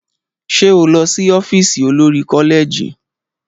Ṣé o lọ sí ọ́fíìsì olori-koleji?